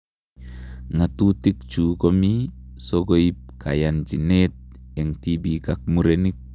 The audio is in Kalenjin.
Ng'atutichu komii sokoip kayanchiniet eng tibiik ak murenik.